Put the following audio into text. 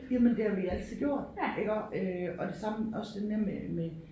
Jamen det har vi altid gjort iggå øh og det samme også det med med